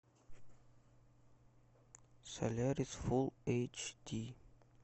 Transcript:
солярис фулл эйч ди